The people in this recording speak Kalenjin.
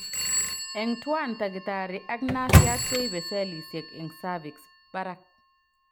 Eng' twan takitari ak nasiat koibe cellisiek eng' cervix barak